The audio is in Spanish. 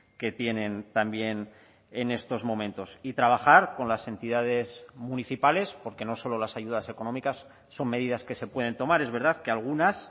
que tienen también en estos momentos y trabajar con las entidades municipales porque no solo las ayudas económicas son medidas que se pueden tomar es verdad que algunas